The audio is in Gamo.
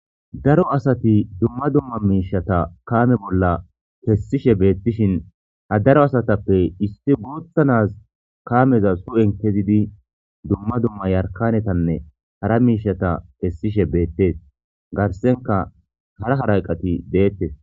daro asati dumma dumma miishata kaame bolla kesishe beettishin ha daro asatappe issi gutha nazi kaameza hu7en kezidi dumma dumma yarkanetanne hara miishata kessishe beettees garsenka hara halaqati deettes